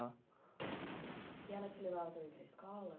E ela te levava também para escola?